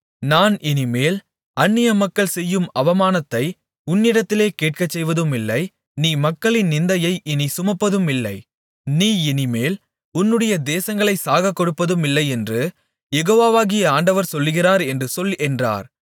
நான் இனிமேல் அந்நியமக்கள் செய்யும் அவமானத்தை உன்னிடத்திலே கேட்கச்செய்வதுமில்லை நீ மக்களின் நிந்தையை இனிமேல் சுமப்பதுமில்லை நீ இனிமேல் உன்னுடைய தேசங்களைச் சாகக்கொடுப்பதுமில்லையென்று யெகோவாகிய ஆண்டவர் சொல்லுகிறார் என்று சொல் என்றார்